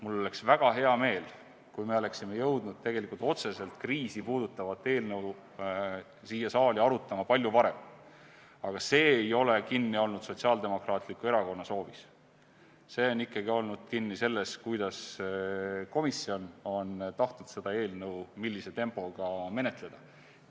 Mul oleks väga hea meel, kui me oleksime jõudnud otseselt kriisi puudutavat eelnõu siin saalis hakata arutama palju varem, aga see ei ole olnud kinni Sotsiaaldemokraatliku Erakonna soovis, see oli ikkagi kinni selles, kuidas ja millise tempoga on komisjon tahtnud seda eelnõu menetleda.